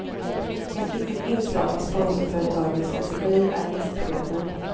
Ett viktigt inslag i sponsorföretagens strategi är gästprogrammen.